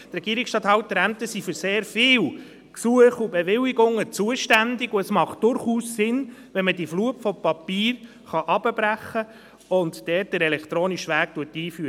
Die Regierungsstatthalterämter sind für sehr viele Gesuche und Bewilligungen zuständig, und es macht durchaus Sinn, dass man dort den elektronischen Weg einführt, wenn man die Flut von Papieren damit hinunterbrechen kann.